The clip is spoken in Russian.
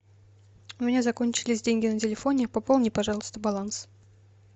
у меня закончились деньги на телефоне пополни пожалуйста баланс